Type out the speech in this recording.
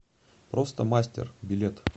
просто мастер билет